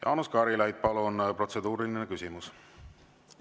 Jaanus Karilaid, palun, protseduuriline küsimus!